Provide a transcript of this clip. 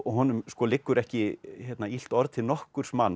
honum liggur ekki illt orð til nokkurs manns